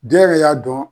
Den yɛrɛ y'a dɔn